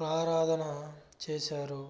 క్ళారాధన చేశారు